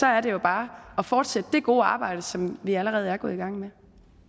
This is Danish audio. er det jo bare at fortsætte det gode arbejde som vi allerede er gået i gang med